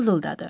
Mızıldadı.